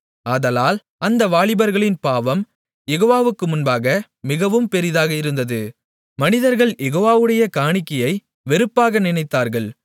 ஆதலால் அந்த வாலிபர்களின் பாவம் யெகோவாவுக்கு முன்பாக மிகவும் பெரிதாக இருந்தது மனிதர்கள் யெகோவாவுடைய காணிக்கையை வெறுப்பாக நினைத்தார்கள்